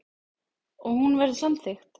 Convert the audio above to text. Og hún verður samþykkt.